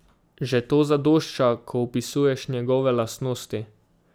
Že to zadošča, ko opisuješ njegove lastnosti.